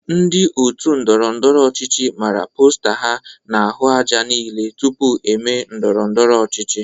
Ndị otu ndọrọndọrọ ọchịchị mara posta ha n'ahụ aja niile tupu eme ndọrọndọrọ ọchịchị.